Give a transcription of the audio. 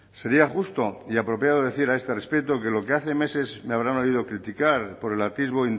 sería justo y apropiado decir a este respecto que lo que hace meses me habrán oído criticar por el atisbo